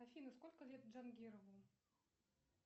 афина сколько лет джангирову